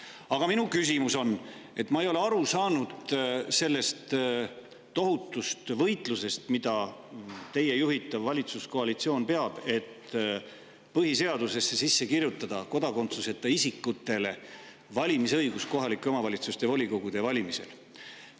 Aga minu küsimus on selle kohta, et ma ei ole aru saanud sellest tohutust võitlusest, mida teie juhitav valitsuskoalitsioon peab selleks, et põhiseadusesse sisse kirjutada kodakondsuseta isikute valimisõigus kohalike omavalitsuste volikogude valimistel.